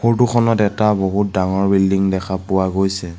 Photo খনত এটা বহুত ডাঙৰ বিল্ডিং দেখা পোৱা গৈছে।